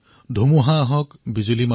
आँधियाँ चाहे उठाओ